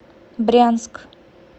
брянск